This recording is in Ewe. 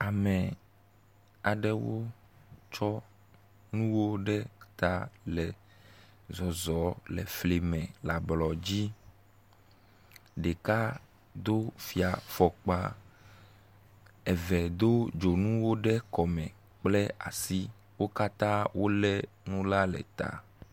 Ame aɖewo tsɔ nuwo ɖe ta le zɔzɔm le fli me le ablɔdzi, ɖeka do fia fɔkpa, eve do dzonuwo ɖe kɔme kple asi. Wo katã wolé nu la le ta.